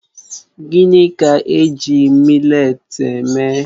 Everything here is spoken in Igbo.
Gịnị ka-eji mị́letí eme?